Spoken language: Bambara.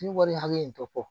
Ni wari hakɛ in tɔ bɔ